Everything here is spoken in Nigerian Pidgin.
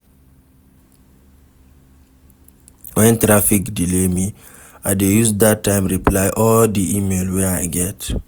Wen traffic delay me, I dey use dat time reply all di email wey I get.